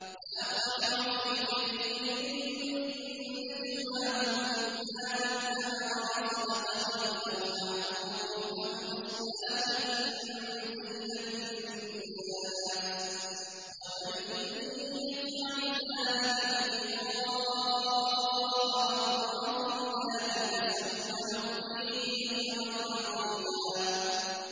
۞ لَّا خَيْرَ فِي كَثِيرٍ مِّن نَّجْوَاهُمْ إِلَّا مَنْ أَمَرَ بِصَدَقَةٍ أَوْ مَعْرُوفٍ أَوْ إِصْلَاحٍ بَيْنَ النَّاسِ ۚ وَمَن يَفْعَلْ ذَٰلِكَ ابْتِغَاءَ مَرْضَاتِ اللَّهِ فَسَوْفَ نُؤْتِيهِ أَجْرًا عَظِيمًا